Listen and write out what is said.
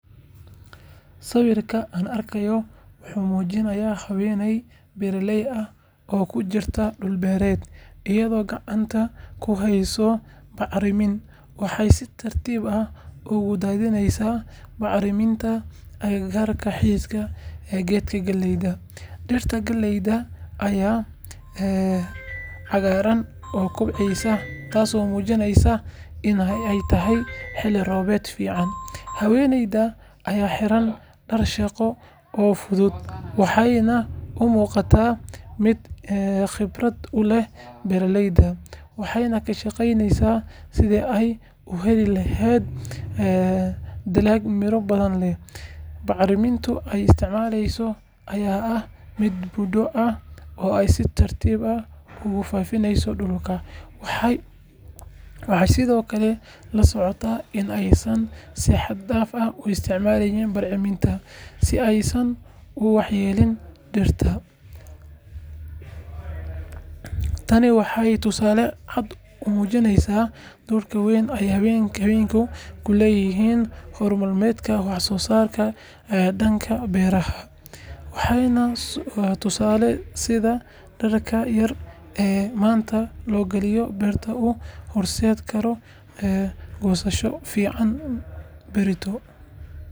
Sawirka aan arkayno wuxuu muujinayaa haweeney beeraley ah oo ku jirta dhul beereed, iyadoo gacanta ku heyso bacrimin. Waxay si taxaddar leh ugu daadinaysaa bacriminta agagaarka xididka geedka galleyda. Dhirta galleyda ayaa cagaaran oo kobceysa, taasoo muujineysa in ay tahay xilli roobaad fiican. Haweeneydan ayaa xiran dhar shaqo oo fudud, waxayna u muuqataa mid khibrad u leh beeraleyda. Waxay ka shaqeyneysaa sidii ay u heli lahayd dalag miro badan leh. Bacriminta ay isticmaaleyso ayaa ah mid budo ah oo ay si tartiib ah ugu faafineyso dhulka. Waxay sidoo kale la socotaa in aysan si xad dhaaf ah u isticmaalin bacriminta si aysan u waxyeelleyn dhirta. Tani waa tusaale cad oo muujinaya doorka weyn ee haweenka ku leeyihiin horumarinta wax-soosaarka dhanka beeraha. Waxay na tusaysaa sida dadaalka yar ee maanta loo galiyo beerta uu u horseedi karo goosasho fiican berrito.